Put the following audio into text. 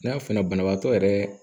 N'a f'i ɲɛna banabaatɔ yɛrɛ